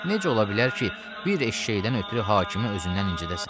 Necə ola bilər ki, bir eşşəkdən ötrü hakimi özündən incidəsən?